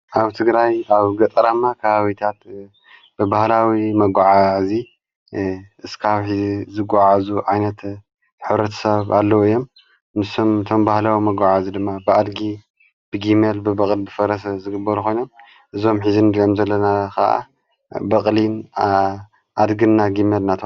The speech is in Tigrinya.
ኣውደስ ትግራይ ኣብ ገጠራማ ካባብታት ብባህላዊ መጕዓ እዙይ እስካብ ሕዝ ዝጐዓእዙ ዓይነት ኅረት ሰብ ኣለዉ እዮም። ንሳቶም ድማ ባህላዊ መጕዓ ድማ ብኣድጊ ፣ብጊመል ፣ብበቕል ፣ብፈረሰ ፣ዝግበር ኾይኖም እዞም ንጋዘሎም ዘለና ኸዓ በቕሊን ፣ኣድግና ፣ግመል እዮሞ።